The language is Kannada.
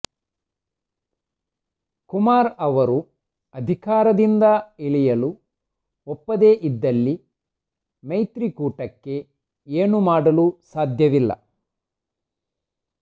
ಕುಮಾರ್ ಅವರು ಅಧಿಕಾರದಿಂದ ಇಳಿಯಲು ಒಪ್ಪದೆ ಇದ್ದಲ್ಲಿ ಮೈತ್ರಿಕೂಟಕ್ಕೆ ಏನೂ ಮಾಡಲು ಸಾಧ್ಯವಿಲ್ಲ